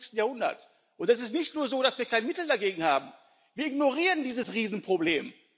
21. Jahrhunderts, und es ist nicht nur so, dass wir kein Mittel dagegen haben, wir ignorieren dieses Riesenproblem.